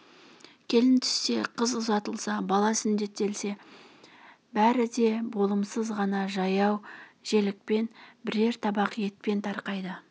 келін түссе қыз ұзатылса бала сүндеттелсе бәрі де болымсыз ғана жаяу желікпен бірер табақ етпен тарқайды